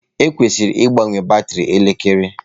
Ekwesịrị ịgbanwe batrị elekere.